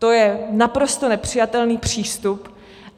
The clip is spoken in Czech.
To je naprosto nepřijatelný přístup.